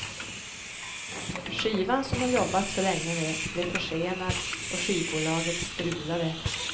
Skivan som hon jobbat så länge med blev försenad och skivbolaget strulade.